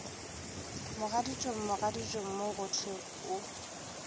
mogaditšong mogaditšong mo gohle o